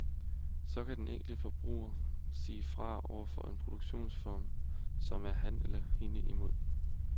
Så kan den enkelte forbruger sige fra over for en produktionsform, som er ham eller hende imod.